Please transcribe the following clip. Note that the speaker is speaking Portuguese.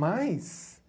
Mas